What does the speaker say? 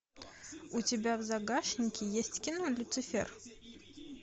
у тебя в загашнике есть кино люцифер